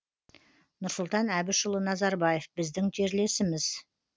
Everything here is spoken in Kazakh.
нұрсұлтан әбішұлы назарбаев біздің жерлесіміз